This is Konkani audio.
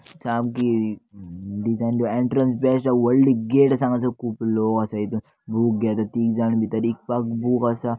सामकी डिजाईन बी एंट्रंस बेस्ट आहा व्हडली गेट आसा हांगासर खूप लोक आसा हितर बूक घेता तीघ जाण भीतर इकपाक बूक आसा.